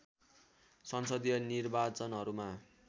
संसदीय निर्वाचनहरूमा